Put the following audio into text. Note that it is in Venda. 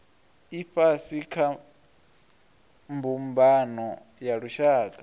ifhasi kha mbumbano ya lushaka